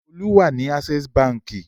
Olú wà ní Access Báńkì.